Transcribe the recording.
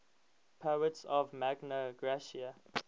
poets of magna graecia